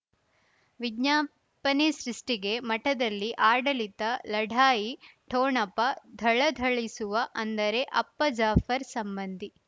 ವಿಜ್ಞಾಪನೆ ಸೃಷ್ಟಿಗೆ ಮಠದಲ್ಲಿ ಆಡಳಿತ ಲಢಾಯಿ ಠೊಣಪ ಥಳಥಳಿಸುವ ಅಂದರೆ ಅಪ್ಪ ಜಾಫರ್ ಸಂಬಂಧಿ